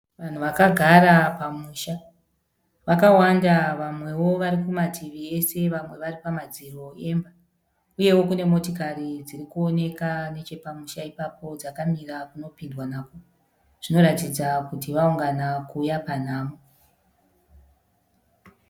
Vanhu vakagara pamusha, vakawanda vamwewo vari kumativi ese vamwe vari pamadziro emba uyewo kune motikari dziri kuoneka nechepamusha ipapo dzakamira kunopindwa nako. Zvinoratidza kuti vaungana kuuya panhamo.